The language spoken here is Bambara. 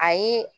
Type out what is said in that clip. Ayi